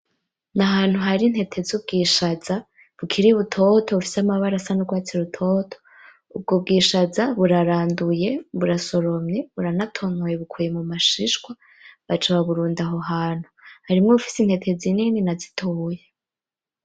Nahantu hari intete zubwishaza bukiri butoto bufise amabara asa nurwatsi rutoto. Ubwo bwishaza buraranduye burasoromye buranatonoye bukuye mumashishwa baca baburunda aho hantu harimwo izifise intete nini nazitoyi.